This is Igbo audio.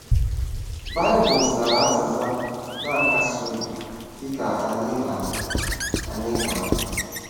Baịbụl zara azịza na-akasi obi, dị ka anyị ga-ahụ. anyị ga-ahụ.